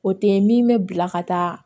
O tɛ min bɛ bila ka taa